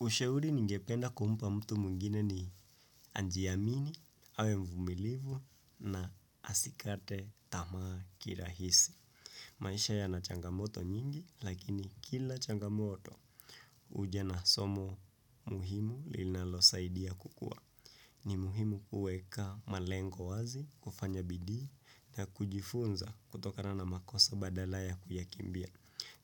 Ushauri ningependa kumpa mtu mwngine ni ajiamini awe mvumilivu na asikate tamaa kirahisi. Maisha yana changamoto nyingi lakini kila changamoto huja na somo muhimu linalosaidia kukua. Ni muhimu kuweka malengo wazi, kufanya bidii na kujifunza kutokana na makosa badala ya kuyakimbia.